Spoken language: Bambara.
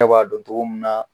Ne b'a dɔ togo mun na